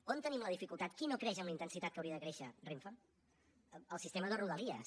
on tenim la dificultat qui no creix amb la intensitat que hauria de créixer renfe el sistema de rodalies